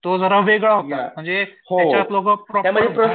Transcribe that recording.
तो जरा वेगळा होता म्हणजे